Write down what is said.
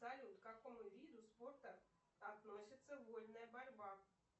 салют к какому виду спорта относится вольная борьба